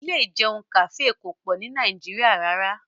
Ilé ìjẹun kàfé kò pọ̀ ni Nàìjíríà rárá